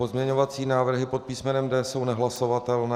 Pozměňovací návrhy pod písmenem D jsou nehlasovatelné.